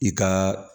I ka